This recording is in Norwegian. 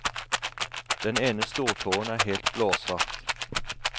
Den ene stortåen er helt blåsvart.